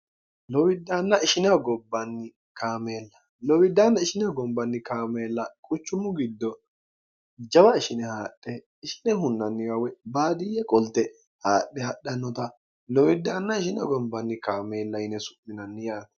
llowiddaanna ishineho gombanni kaameella quchummu giddo jawa ishine haadhe ishine hunnanniwa w baadiyye qolte haadhe hadhannota lowiddaanna ishinehogombanni kaameella yine su'minanni yaao